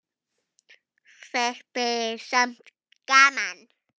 Þetta er samt gaman.